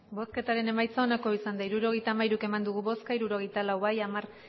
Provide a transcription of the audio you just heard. bosketaren emaitza onako izan da hirurogeita hamairu eman dugu bozka hirurogeita lau bai hamar